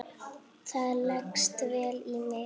Það leggst vel í mig.